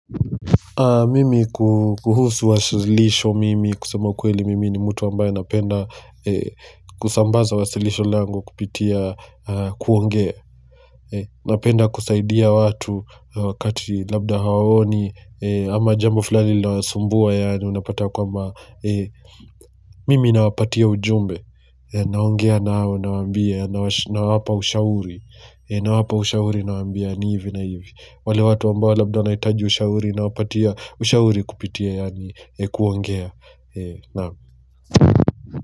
Mimi kuhusu wasilisho mimi kusema ukweli mimi ni mutu ambaye anapenda kusambaza wasilisho langu kupitia kuongea. Napenda kusaidia watu wakati labda hawaoni ama jambo fulani linawasumbua yaani unapata kwamba mimi nawapatia ujumbe naongea nao nawaambia nawapa ushauri, nawapa ushauri nawaambia ni hivi na hivi. Wale watu ambao labda wanahitaji ushauri nawapatia ushauri kupitia yaani kuongea, naam.